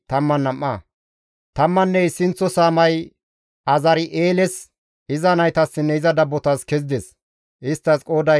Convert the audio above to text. Tammanne issinththo saamay Azari7eeles, iza naytassinne iza dabbotas kezides; isttas qooday 12.